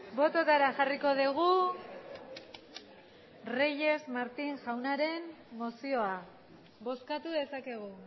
bototara jarriko dugu reyes martín jaunaren mozioa bozkatu dezakegu